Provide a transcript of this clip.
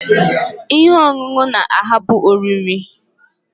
Ihe ọṅụṅụ na-ahapụ oriri!